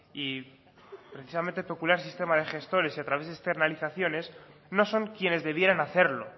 y precisamente peculiar sistema de gestores y a través de externalizaciones no son quienes debieran hacerlo